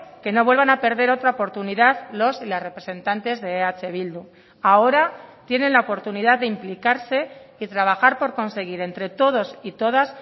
que no vuelvan a perder otra oportunidad los y las representantes de eh bildu ahora tienen la oportunidad de implicarse y trabajar por conseguir entre todos y todas